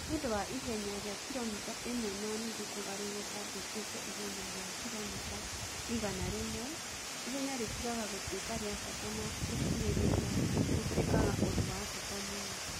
nĩũndũ wa ihenya rĩa kiromita ĩmwe na nuthu kũgarũrũka rĩtuĩke ihenya rĩa kiromita igana rĩmwe, ihenya rĩtigaga gũtuĩka rĩa bata na ũkirĩrĩria ũtuĩkaga ũndũ wa bata mũno.